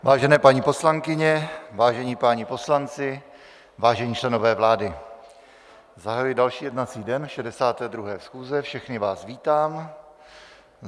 Vážené paní poslankyně, vážení páni poslanci, vážení členové vlády, zahajuji další jednací den 62. schůze, všechny vás vítám.